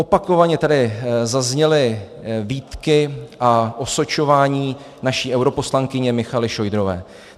Opakovaně tady zazněly výtky a osočování naší europoslankyně Michaely Šojdrové.